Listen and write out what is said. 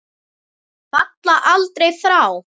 Falla aldrei frá.